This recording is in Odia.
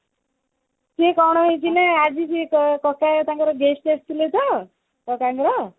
ସିଏ କଣ ହେଇଛି ନା ଆଜି କକା ତାଙ୍କର ଥିଲେ ତ କକାଙ୍କର